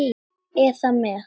eða með